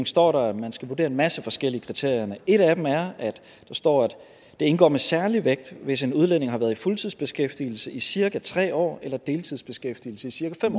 står der jo at man skal vurdere en masse forskellige kriterier et af dem er at der står at det indgår med særlig vægt hvis en udlænding har været i fuldtidsbeskæftigelse i cirka tre år eller i deltidsbeskæftigelse i cirka fem